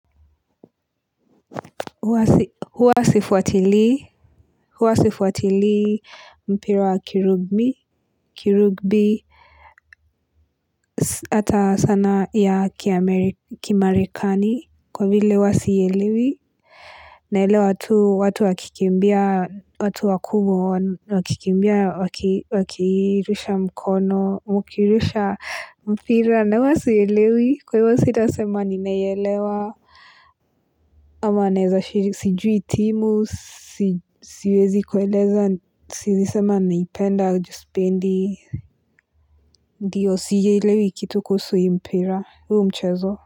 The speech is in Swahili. Huwa sifuatilii mpira wa kirugbi, hata sana ya kimarekani, kwa vile huwa siielewi. Naelewa tu watu wakikimbia, watu wakubwa, wakikimbia, wakirusha mkono, wakirusha mpira. Na huwa sielewi, kwa hivyo sita sema ninaelewa ama naeza shiri sijui itimu siwezi kueleza siezisema naipenda ju sipendi ndio sielewi kitu kuhusu hii mpira huu mchezo.